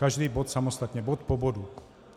Každý bod samostatně - bod po bodu.